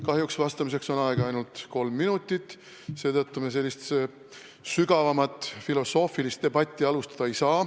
Kahjuks on vastamiseks aega ainult kolm minutit, seetõttu me sügavamat filosoofilist debatti pidada ei saa.